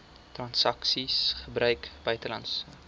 transaksies gebruik buitelandse